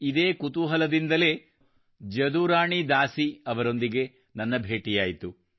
ಇದೇ ಕುತೂಹಲದಿಂದಲೇ ನಾನು ಜದುರಾಣಿ ದಾಸಿ ಅವರೊಂದಿಗೆ ನನ್ನ ಭೇಟಿಯಾಯಿತು